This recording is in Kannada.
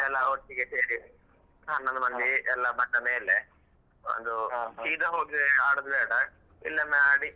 ಎಲ್ಲ ಒಟ್ಟಿಗೆ ಸೇರಿ ಹ ನಮ್ಮ ಅಲ್ಲಿ ಎಲ್ಲ ಬಂದ ಮೇಲೆ ಒಂದು ಸೀದಾ ಹೋಗಿ ಆಡುದು ಬೇಡ ಇಲ್ಲೊಮ್ಮೆ ಅಡಿ.